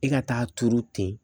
E ka taa turu ten